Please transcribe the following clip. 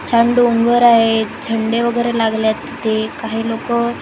छान डोंगर आहे झेंडे वगेरे लागलेत इथे काही लोकं येत आहेत.